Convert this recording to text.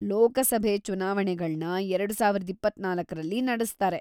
ಲೋಕಸಭೆ ಚುನಾವಣೆಗಳ್ನ ಎರಡು ಸಾವಿರದ ಇಪ್ಪತ್ತ್ನಾಲ್ಕರಲ್ಲಿ ನಡೆಸ್ತಾರೆ.